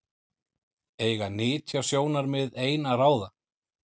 Eiga nytjasjónarmið ein að ráða?